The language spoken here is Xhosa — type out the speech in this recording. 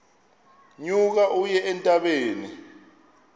nyuka uye entabeni